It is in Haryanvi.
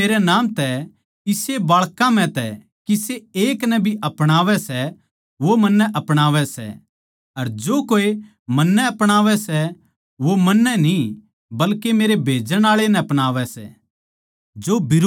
जो कोए मेरै नाम तै इसे बाळकां म्ह तै किसे एक नै भी अपणावै सै वो मन्नै अपणावै सै अर जो कोए मन्नै अपणावै सै वो मन्नै न्ही बल्के मेरै भेजण आळे नै अपणावै सै